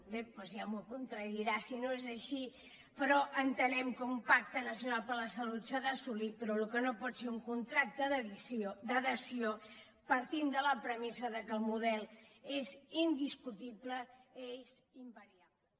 bé doncs ja m’ho contradirà si no és així però entenem que un pacte nacional per la salut s’ha d’assolir però el que no pot ser un contracte d’adhesió partint de la premissa que el model és indiscutible és invariable